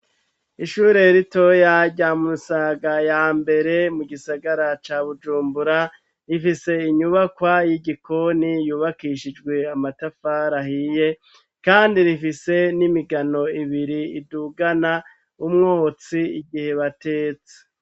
ishure ritoya rya musaga ya mbere mu gisagara ca bujumbura, rifise inyubakwa y'igikoni yubakishijwe amatafari ahiye, kandi rifise n'imigano ibiri idugana umwotsi igihe batetse.